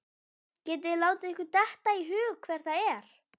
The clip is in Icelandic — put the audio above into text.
Getið þið látið ykkur detta í hug hver það er?